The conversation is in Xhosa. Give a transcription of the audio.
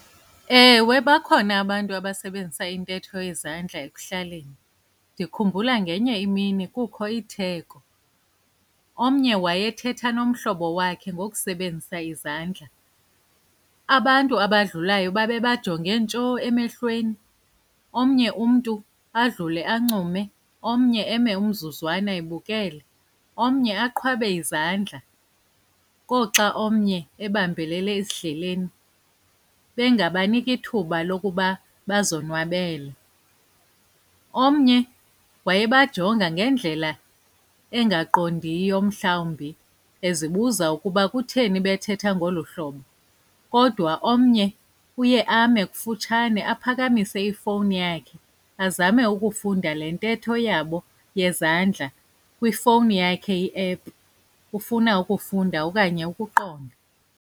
Ewe, bakhona abantu abasebenzisa intetho yezandla ekuhlaleni. Ndikhumbula ngenye imini kukho itheko. Omnye wayethetha nomhlobo wakhe ngokusebenzisa izandla. Abantu abadlulayo babebajonge ntsho emehlweni. Omnye umntu adlule ancume, omnye eme umzuzwana ebukele, omnye aqhwabe izandla, koxa omnye ebambelele esidleleni bengabaniki ithuba lokuba bazonwabele. Omnye wayebajonga ngendlela engaqondiyo mhlawumbi ezibuza ukuba kutheni bethetha ngolu hlobo. Kodwa omnye uye ame kufutshane aphakamise ifowuni yakhe azame ukufunda le ntetho yabo yezandla kwifowuni yakhe iephu, ufuna ukufunda okanye ukuqonda.